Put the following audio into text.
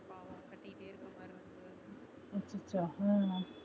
அச்சச்சோ உம்